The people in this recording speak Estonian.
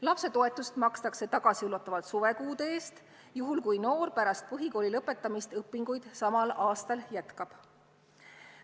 Lapsetoetust makstakse tagasiulatuvalt suvekuude eest, juhul kui noor pärast põhikooli lõpetamist õpinguid samal aastal jätkab.